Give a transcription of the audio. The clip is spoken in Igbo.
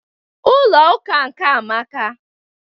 Ụlọ ụka nkea amaka